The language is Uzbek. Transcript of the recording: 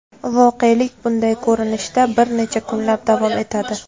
Voqelik bunday ko‘rinishda bir necha kunlab davom etadi.